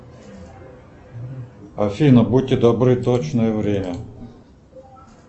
афина будьте добры точное время